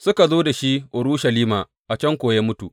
Suka zo da shi Urushalima, a can kuwa ya mutu.